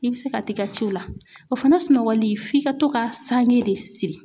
I bɛ se ka t'i ka ciw la o fana sunɔgɔli f'i ka to ka sange de siri.